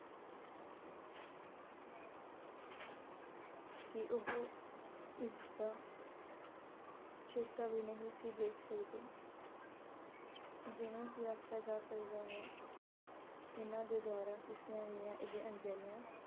ਕੀ ਉਹ ਇਸ ਦਾ ਵੀ ਨਹੀਂ ਸੀ ਦੇਖ ਸਕਦੇ ਜਿਵੇਂ ਕਿ ਆਖਿਆਂ ਜਾ ਸਕਦਾ ਹੈ ਇਹਨਾਂ ਦੇ ਦੁਆਰਾ ਕੀਤੀਆਂ ਗਈਆਂ ਇਹ ਅਣਗਹਿਲੀਆਂ